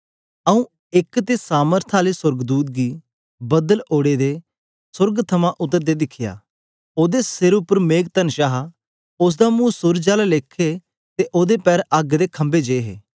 पी आऊँ एक ते सामथ्य आले सोर्गदूत गी बदल ओड़े दे सोर्ग थमां उतरदे दिखया ओदे सिर उपर मेघतनष हा उस्स दा मुंह सूरज आले लेखे ते ओदे पैर अग्ग दे खंभे जे हे